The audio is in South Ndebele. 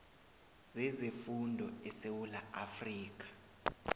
zezefundo esewula afrika